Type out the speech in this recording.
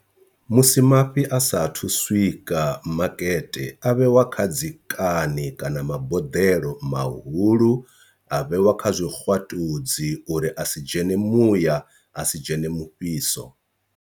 Musi mafhi a sathu swika makete a vhewa kha dzi kani kana maboḓelo mahulu a vhewa kha zwikwatudzi uri a si dzhene muya a si dzhene mufhiso.